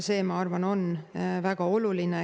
See, ma arvan, on väga oluline.